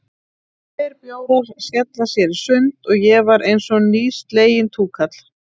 Tveir bjórar, skella sér í sund, og ég var einsog nýsleginn túkall.